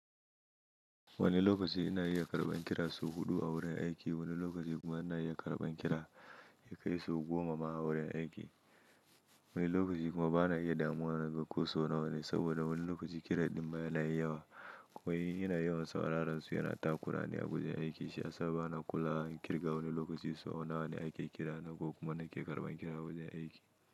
Wani lokaci ina iya karɓan kira sau huɗu a wurin aiki, wani lokaci kuma ina iya karɓan kira ya kai sau goma ma a wurin aiki. Wani lokaci kuma bana iya damuwa naga ko so nawa ne, saboda wani lokaci kira ɗin ma yana yin yawa. In yawan sauraron su yana ta kurani a wajen aiki, shi ya sa bana kula in kirga wane lokaci su nawa ne ake kira, ko kuma nake karɓan kira a wajen aiki.